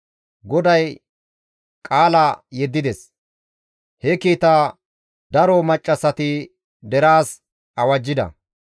Goday qaala yeddides; he kiitaa daro maccassati deraas awajjida.